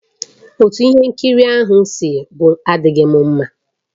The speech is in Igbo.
Otú ihe nkiri ahụ si gwụ adịghị amasị m